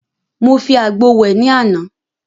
Mo fi àgbo wẹ̀ ní àná.